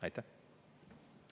Aitäh!